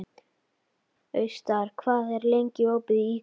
Austar, hvað er lengi opið í IKEA?